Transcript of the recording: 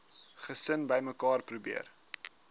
gesin bymekaar probeer